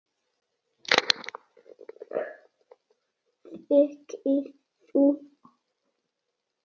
Þegi þú!